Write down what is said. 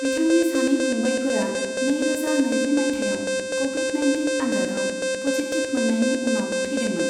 बिथांनि सानै फंबायफोरा नैरोजा नैजि मायथाइयाव कभिद नाइन्टिन आनजादाव पजिटिभ मोननायनि उनाव थैदोंमोन।